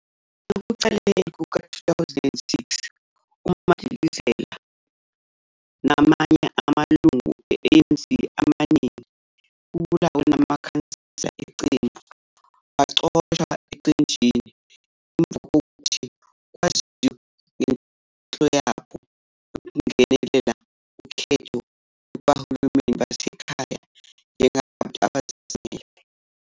Ekuqaleni kuka-2006, uMadikizela namanye amalungu e-ANC amaningana, kubalwa namakhansela eqembu, baxoshwa eqenjini ngemuva kokuthi kwaziwe ngenhloso yabo yokungenela ukhetho lohulumeni basekhaya njengabantu abazimele.